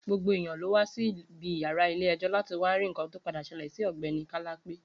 Gbogbo eyan ló wa Si ibi iyara ile ejo lati wa ri nkan to pade sele Si ogbeni Kalape